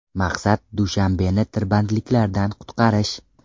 Maqsad Dushanbeni tirbandliklardan qutqarish.